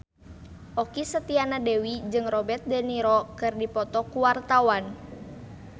Okky Setiana Dewi jeung Robert de Niro keur dipoto ku wartawan